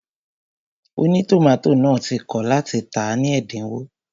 Ònítòmátò náà ti kọ̀ láti tàá ní ẹ̀dínwó